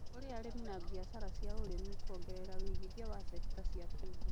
kũrĩ arĩmi na biashara cia ũrĩmi, kuongerera wĩigithia wa cekita cia kĩũmbe